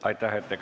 Aitäh!